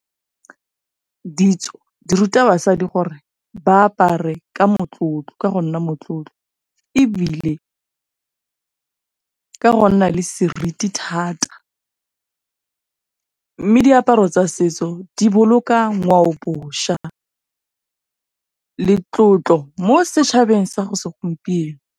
Ditso di ruta basadi gore ba apare ka go nna motlotlo ebile ka go nna le seriti thata. Mme diaparo tsa setso di boloka ngwaobošwa le tlotlo mo setšhabeng sa segompieno.